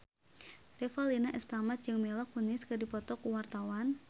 Revalina S. Temat jeung Mila Kunis keur dipoto ku wartawan